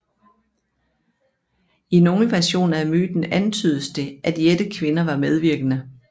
I nogle versioner af myten antydes det at jættekvinder var medvirkende